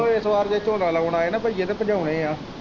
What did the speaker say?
ਉਹ ਇਸ ਵਾਰ ਜੇ ਝੋਨਾ ਲਾਉਣ ਆਏ ਨਾ ਬਈਏ ਤੇ ਭਜਾਉਣੇ ਏ।